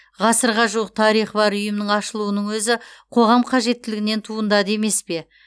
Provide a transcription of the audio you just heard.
ғасырға жуық тарихы бар ұйымның ашылуының өзі қоғам қажеттілігінен туындады емес пе